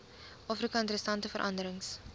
afrika interessante veranderings